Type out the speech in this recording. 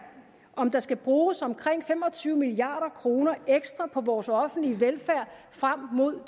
om der skal bruges omkring fem og tyve milliard kroner ekstra på vores offentlige velfærd frem mod